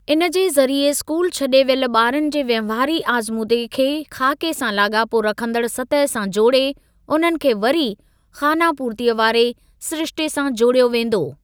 इनजे ज़रिए स्कूल छॾे वियल ॿारनि जे वहिंवारी आज़मूदे खे ख़ाके सां लाॻापो रखंदड़ सतह सां जोड़े, उन्हनि खे वरी खानापूर्तीअ वारे सिरिश्ते सां जोड़ियो वेंदो।